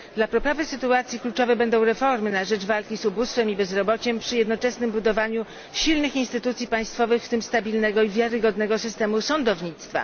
Dla poprawy sytuacji kluczowe będą reformy na rzecz walki z ubóstwem i bezrobociem przy jednoczesnym budowaniu silnych instytucji państwowych, w tym stabilnego i wiarygodnego systemu sądownictwa.